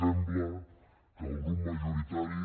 sembla que el grup majoritari